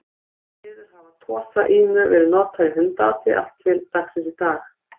Því miður hafa Tosa Inu verið notaðir í hundaati allt til dagsins í dag.